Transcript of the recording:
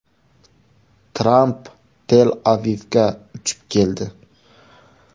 Tramp Tel-Avivga uchib keldi.